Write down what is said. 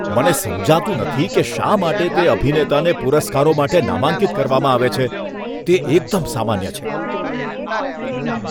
મને સમજાતું નથી કે શા માટે તે અભિનેતાને પુરસ્કારો માટે નામાંકિત કરવામાં આવે છે. તે એકદમ સામાન્ય છે.